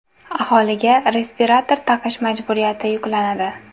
Aholiga respirator taqish majburiyati yuklanadi.